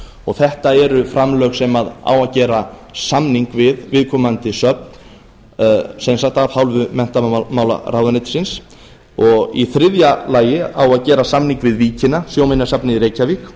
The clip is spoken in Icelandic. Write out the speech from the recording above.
og þetta eru framlög sem á að gera samning um við viðkomandi söfn af hálfu menntamálaráðuneytisins í þriðja lagi á að gera samning við víkina sjóminjasafnið